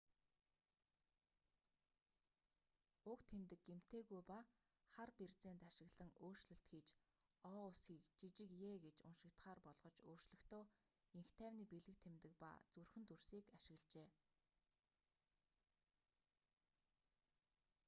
уг тэмдэг гэмтээгүй ба хар берзент ашиглан өөрчлөлт хийж о үсгийг жижиг е гэж уншигдахаар болгож өөрчлөхдөө энх тайвны бэлэг тэмдэг ба зүрхэн дүрсийг ашиглажээ